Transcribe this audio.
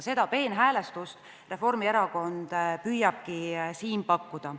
Seda peenhäälestust Reformierakond püüabki siin pakkuda.